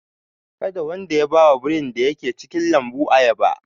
Kada wanda ya ba wa birin da ke cikin lambun ayaba!